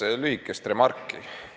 Kaks lühikest remarki.